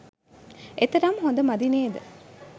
එතරම් හොඳ මදි නේද.